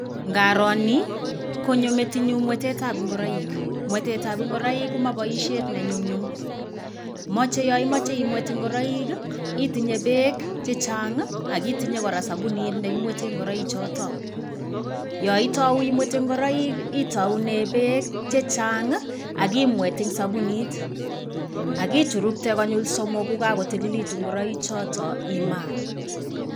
Ngaro ni konyo metinyu mwetetab nguroik. Mwetetab nguroik ko ma baisiet ne nyumnyum. Mache yaimache imwet ngoroik, itinye beek chechang akitinye kora sabunit nekimwete nguroichoto. Yaitau imwete nguroik itaunee beek chechang' akimwet eng' sabunit, ak ichurukte konyil somok kokakotililitu ngureichoto, imaa.